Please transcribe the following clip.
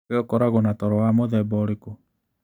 Wee ũkoragwo na toro wa mũthemba ũrĩkũ?